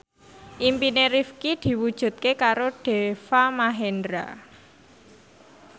impine Rifqi diwujudke karo Deva Mahendra